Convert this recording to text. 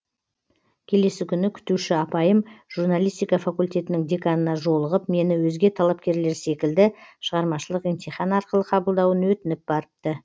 келесі күні күтуші апайым журналистика факультетінің деканына жолығып мені өзге талапкерлер секілді шығармашылық емтихан арқылы қабылдауын өтініп барыпты